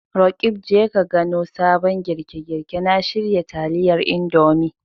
Roqeeb, Je ka gano sabon girke-girke na shirya taliyar Indomie.